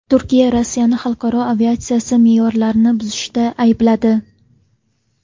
Turkiya Rossiyani xalqaro aviatsiya me’yorlarini buzishda aybladi.